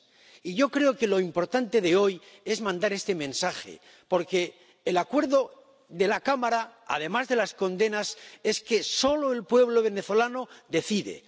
Y yo creo que lo importante de hoy es mandar este mensaje, porque el acuerdo de la Cámara, además de las condenas, es que, en primer lugar, solo el pueblo venezolano decide.